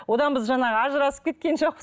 одан біз жаңағы ажырасып кеткен жоқпыз